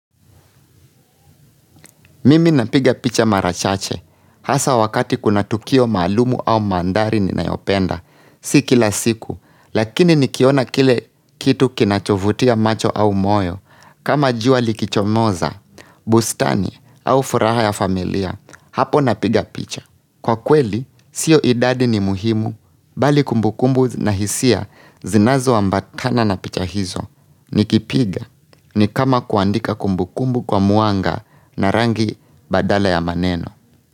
Mimi napiga picha mara chache, hasa wakati kuna tukio maalumu au mandhari ninayopenda, si kila siku, lakini nikiona kile kitu kinachovutia macho au moyo, kama jua likichomoza, bustani au furaha ya familia, hapo napiga picha. Kwa kweli, sio idadi ni muhimu bali kumbukumbu na hisia zinazoambatana na picha hizo nikipiga ni kama kuandika kumbukumbu kwa mwanga na rangi badala ya maneno.